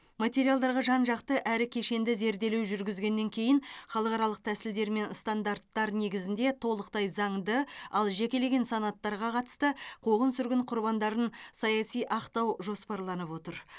материалдарға жан жақты әрі кешенді зерделеу жүргізгеннен кейін халықаралық тәсілдер мен стандарттар негізінде толықтай заңды ал жекелеген санаттарға қатысты қуғын сүргін құрбандарын саяси ақтау жоспарланып отыр